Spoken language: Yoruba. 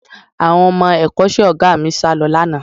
Àwọn ọmọ ẹ̀kọ́ṣẹ́ Ọ̀gá mi sálọ lánàá